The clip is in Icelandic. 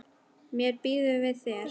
Mér býður við þér.